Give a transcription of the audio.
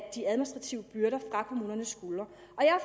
af de administrative byrder fra kommunernes skuldre